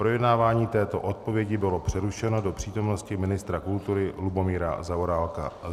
Projednávání této odpovědi bylo přerušeno do přítomnosti ministra kultury Lubomíra Zaorálka.